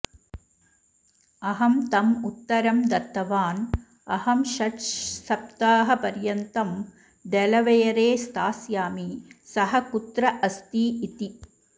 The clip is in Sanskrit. अहं तम् उत्तरं दत्तवान् अहं षड्सप्ताहपर्यन्तं डेलावेयरे स्थास्यामि सः कुत्र अस्ति इति